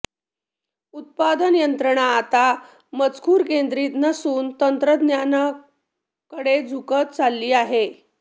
उत्पादन यंत्रणा आता मजूरकेंद्रीत नसून तंत्रज्ञानाकडे झुकत चालली आहे